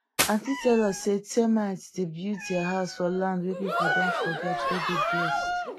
aunty tell us say termite dey build their house for land wey people don forget wey dey blessed